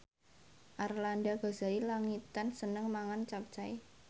Arlanda Ghazali Langitan seneng mangan capcay